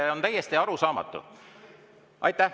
See on täiesti arusaamatu.